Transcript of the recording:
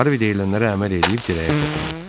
Harvi deyilənlərə əməl eləyib dirəyə toxundu.